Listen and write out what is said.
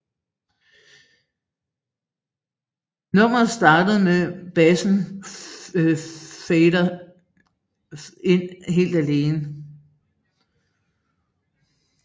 Nummeret starter med bassen fader ind helt alene